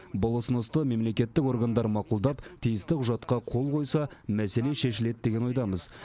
бұл ұсынысты мемлекеттік органдар мақұлдап тиісті құжатқа қол қойса мәселе шешіледі деген ойдамыз